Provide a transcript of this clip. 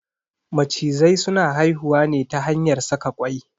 Macizai suna haihuwa ne ta hanyar saka kwai.